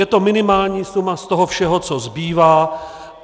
Je to minimální suma z toho všeho, co zbývá.